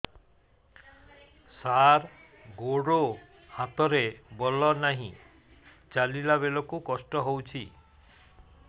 ସାର ଗୋଡୋ ହାତରେ ବଳ ନାହିଁ ଚାଲିଲା ବେଳକୁ କଷ୍ଟ ହେଉଛି